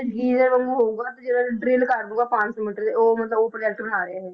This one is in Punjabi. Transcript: ਵਾਂਗੂ ਹੋਊਗਾ ਜਿਹੜਾ drill ਕਰ ਦਊਗਾ ਪੰਜ ਸੌ ਮੀਟਰ ਉਹ ਮਤਲਬ ਉਹ project ਬਣਾ ਰਹੇ ਹੈ ਇਹ।